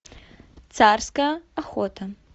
царская охота